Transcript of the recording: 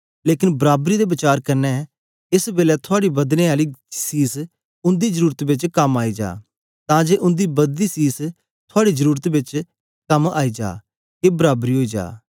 लेकन बराबरी दे वचार कन्ने एस बेलै थुआड़ी बदने आली सीस उंदी जरुरत बेच कम आई जा तां जे उंदी बददी सीस थुआड़ी जरुरत बेच कम आए जा के बराबरी ओई जा